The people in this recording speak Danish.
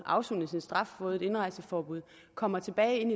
afsonet sin straf og fået et indrejseforbud kommer tilbage